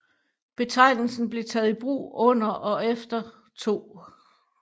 Betegnelsen blev taget i brug under og efter 2